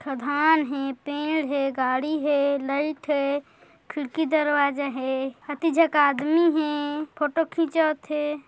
खदान हे पेड़ हे गाडी हे लाइट हे खिड़की दरवाजा हे आदमी हे फोटो खिचावत हे ।